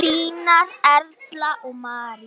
Þínar Erla og María.